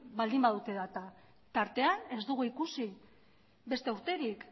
baldin badute data tartean ez dugu ikusi beste urterik